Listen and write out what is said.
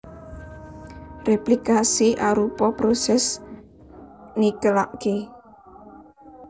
Réplikasi arupa prosès nikelaké